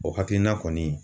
O hakilina kɔni